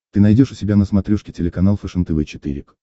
ты найдешь у себя на смотрешке телеканал фэшен тв четыре к